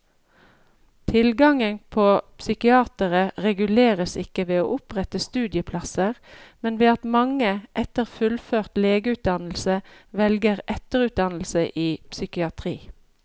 Tilgangen på psykiatere reguleres ikke ved å opprette studieplasser, men ved at mange etter fullført legeutdannelse velger etterutdannelse i psykiatri.